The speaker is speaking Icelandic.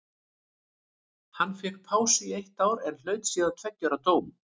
Hann fékk pásu í eitt ár en hlaut síðan tveggja ára dóm.